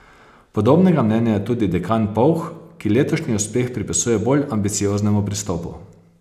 Podobnega mnenja je tudi dekan Povh, ki letošnji uspeh pripisuje bolj ambicioznemu pristopu.